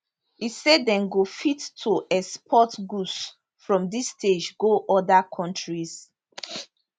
e say dem go fit to export products from dis stage go oda kontris